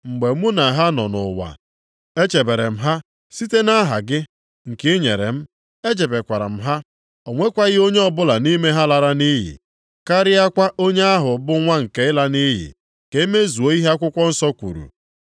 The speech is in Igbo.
Mgbe mụ na ha nọ nʼụwa, echebere m ha site nʼaha gị nke i nyere m. Echebekwara m ha, o nwekwaghị onye ọbụla nʼime ha lara nʼiyi, karịakwa onye ahụ bụ nwa nke ịla nʼiyi, ka e mezuo ihe akwụkwọ nsọ kwuru.